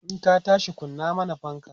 in ka tashi kunna mana fanka!